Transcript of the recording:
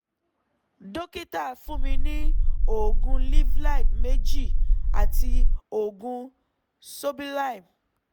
dókítà fún mi ní oògùn livfit méjì àti oògùn sobilime